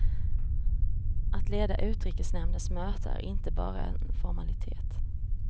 Att leda utrikesnämndens möten är inte bara en formalitet.